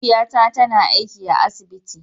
Mahaifiya na ta na aiki a asibiti.